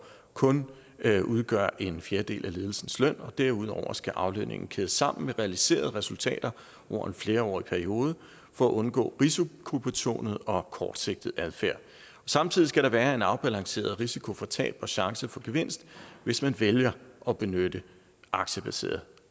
kun udgøre en fjerdedel af ledelsens løn og derudover skal aflønningen kædes sammen med realiserede resultater over en flerårig periode for at undgå risikobetonet og kortsigtet adfærd samtidig skal der være en afbalanceret risiko for tab og chance for gevinst hvis man vælger at benytte aktiebaseret